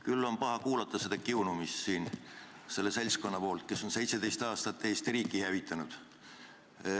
Küll on paha kuulata seda kiunumist siin selle seltskonna poolt, kes on 17 aastat Eesti riiki hävitanud.